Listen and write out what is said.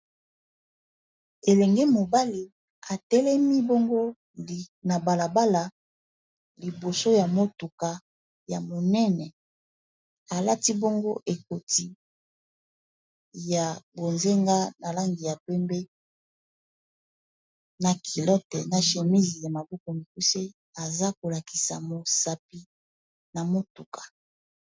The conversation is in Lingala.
Elenge mobali atelemi bongo na bala bala liboso ya motuka ya monene, alati bongo ekoti ya bonzenga na langi ya pembe na culote na chemise ya maboko mikuse aza ko lakisa mosapi na motuka.